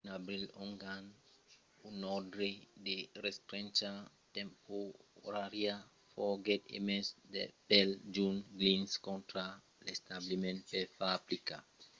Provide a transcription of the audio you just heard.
en abril ongan un òrdre de restrencha temporària foguèt emés pel jutge glynn contra l'establiment per far aplicar la liberacion de las personas detengudas mai de 24 oras aprèp lor admission qu'èran pas estadas ausidas per un commissari del tribunal